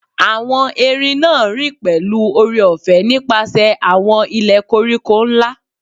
Awọn erin naa rin pẹlu oore-ọfẹ nipasẹ awọn ilẹ koriko nla